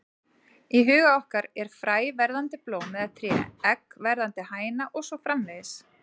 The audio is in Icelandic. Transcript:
Í huga okkar er fræ verðandi blóm eða tré, egg verðandi hæna og svo framvegis.